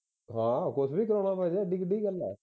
ਹਾਂ ਕੁਝ ਵੀ ਕਰਵਾ ਲਵਾਂਗੇ ਏਡੀ ਕਿਹੜੀ ਵੱਡੀ ਗੱਲ ਹੈ